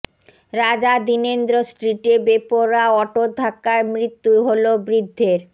রাজা দীনেন্দ্র স্ট্রিটে বেপরোয়া অটোর ধাক্কায় মৃত্যু হল বৃদ্ধের